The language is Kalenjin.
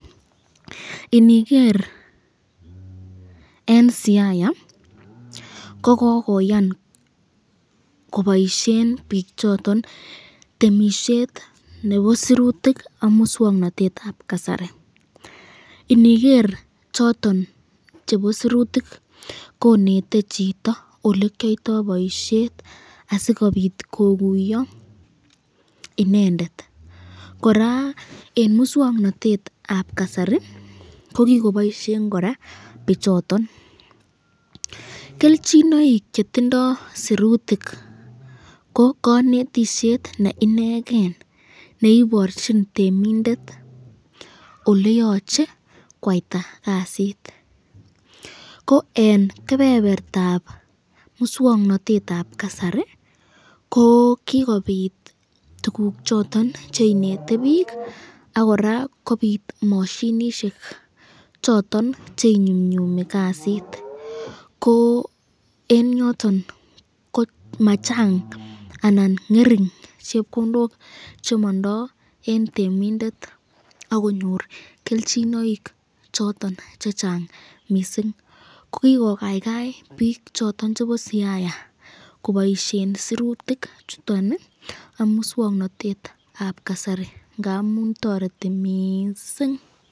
inigeer en siaya, kogogoyaan koboishen biik choton temishet nebo sirutik ak muswoknotet ab kasari, inigeer choton chebo sirutik konete chito olekyoitoo boisheet asigobiik koguyo inendet, koraa en muswoknotet ab kasari ko kigoboishen koraa bichoton, kelchinoik chetindoo sirutik ko konetisyeet neinegeen neiborchin temindet oleyoche kwaita kasiit, ko en kebebertaab muswoknotet ab kasari ko kigobiit tuguuk choton cheinete biik ak koraa kobiit moshinishek choton cheinyumnyumi kasiit ko en yoton ko machang anan ngering chepkondook chemondoo en temindet ak konyoor kelchinoik choton chechang mising, kogigogaigai biik choton chebo siaya koboishen sirutik chuton iih ak muswoknotet ab kasari ngamuun toreti mising.